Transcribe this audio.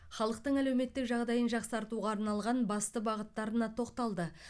халықтың әлеуметтік жағдайын жақсартуға арналған басты бағыттарына тоқталды